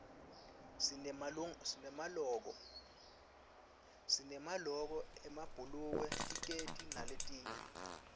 sinemaloko emabhulukwe tikedi naletinye